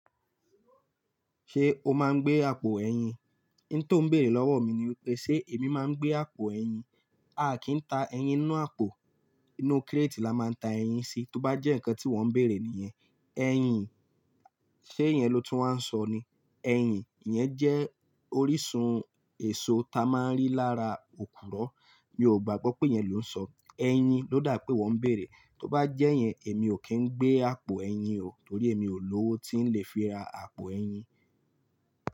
Ṣé o máa ń gbé àpò ẹyin? N tó n béèrè lọ́wọ́ mi ni pé, ṣe èmi máa ń gbé àpò ẹyin? A kì í ta ẹyin nínú àpò. Inú kírètì la máa ń ta ẹyin sí. Tóbá jẹ́ nǹkan tí wọ́ ń bèèrè nìyẹn, ẹyin, ṣé yẹn ló tún wá ń sọ ni? Ẹyin iyẹn jẹ́ orísun èso ta máa ń rí lára òkùro. Mi ò gbàgbọ́ pé yẹn ló ń sọ. Eyin ló dà pé wọ́ ń bèèrè. Tóbá jẹ́ yẹn èmi ò kí ń gbé àpò ẹyin o, torí èmi ò lówó tí ń lè fi ra àpò ẹyin.